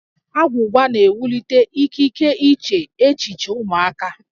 Agwụgwa na-ewulite ikike iche echiche ụmụaka